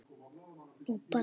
Amma þarf ekkert að vinna.